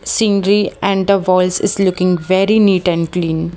Scenery and the walls is looking very neat and clean.